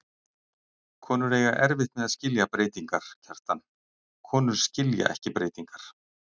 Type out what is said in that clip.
Konur eiga erfitt með að skilja breytingar, Kjartan, konur skilja ekki breytingar.